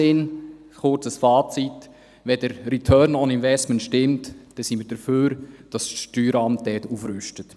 Fazit: Wenn der Return on Investment stimmt, sind wir dafür, dass das Steueramt dort aufrüstet.